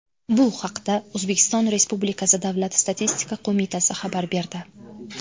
Bu haqda O‘zbekiston Respublikasi Davlat statistika qo‘mitasi xabar berdi .